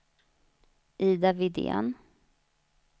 Ida Widén